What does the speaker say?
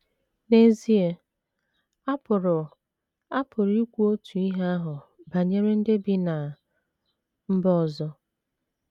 N’ezie, a pụrụ a pụrụ ikwu otu ihe ahụ banyere ndị bi ná mba ndị ọzọ.